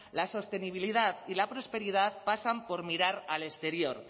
la sostenibilidad y la prosperidad pasan por mirar al exterior